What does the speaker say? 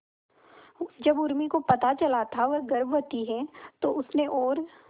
जब उर्मी को पता चला था वह गर्भवती है तो उसने और